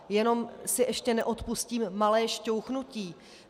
Jen si ještě neodpustím malé šťouchnutí.